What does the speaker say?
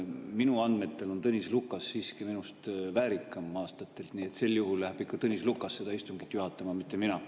Minu andmetel on Tõnis Lukas siiski aastatelt minust väärikam, nii et sel juhul läheb ikka Tõnis Lukas seda istungit juhatama, mitte mina.